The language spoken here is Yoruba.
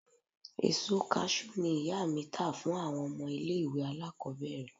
Èso Kaṣú ni ìyá mi tà fún àwọn ọmọ ilẹ̀ ìwẹ̀ alákòbẹ̀rẹ̀